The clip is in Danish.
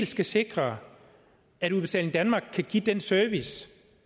skal sikre at udbetaling danmark kan give den service